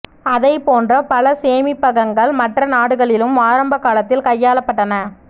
அதைப் போன்ற பல சேமிப்பகங்கள் மற்ற நாடுகளிலும் ஆரம்ப காலத்தில் கையாளப் பட்டன